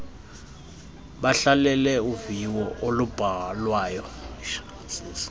bahlalele uviwo olubhalwayo